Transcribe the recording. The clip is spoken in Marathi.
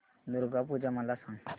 दुर्गा पूजा मला सांग